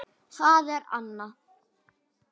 Það er Anna.